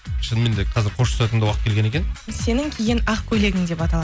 шыныменде қазір қоштасатын да уақыт келген екен сенің киген ақ көйлегің деп аталады